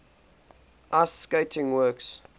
ice skating works